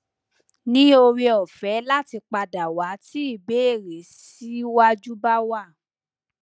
ni ore ofe lati padawa ti ibere si waju ba wa